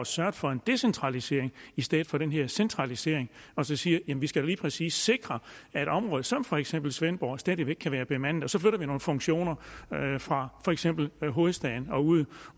sørget for en decentralisering i stedet for den her centralisering og så siger jamen vi skal da lige præcis sikre at et område som for eksempel svendborg stadig væk kan være bemandet og så flytter vi nogle funktioner fra for eksempel hovedstaden og ud